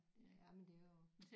Jamen det er jo